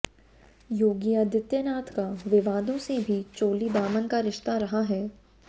योगी आदित्यनाथ का विवादों से भी चोली दामन का रिश्ता रहा है